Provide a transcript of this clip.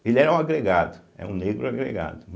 Ele era um agregado, é um negro agregado.